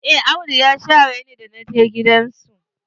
Eh Audu ya share ni da naje gidan su.